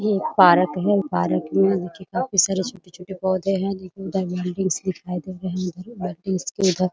ये एक पारक है पारक में देखिए काफी सारे छोटे-छोटे पौधे है उधर बाल्टी दिखाई दे रहे है बाल्टी के उधर --